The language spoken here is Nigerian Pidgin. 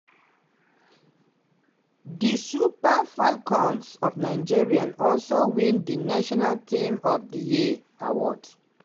di super falcons of nigeria also win di national team of di year award.